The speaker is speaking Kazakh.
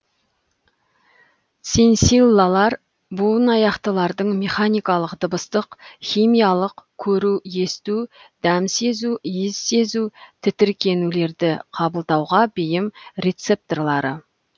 сенсиллалар буынаяқтылардың механикалық дыбыстық химиялық көру есту дәм сезу иіс сезу тітіркенулерді қабылдауға бейім рецепторлары